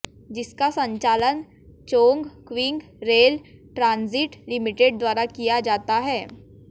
जिसका संचालन Chongqing rail transit limited द्वारा किया जाता है